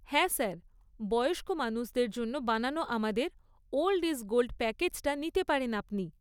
হ্যাঁ স্যার। বয়স্ক মানুষদের জন্য বানানো আমাদের 'ওল্ড ইজ গোল্ড' প্যাকেজটা নিতে পারেন আপনি।